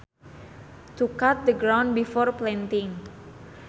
To cut the ground before planting